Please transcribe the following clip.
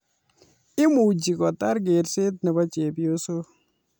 Imuchi kotar kerset nebo chepyosok